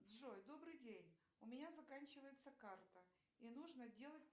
джой добрый день у меня заканчивается карта и нужно делать